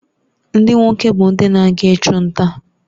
Ndị nwoke bụ ndị na-aga ịchụ nta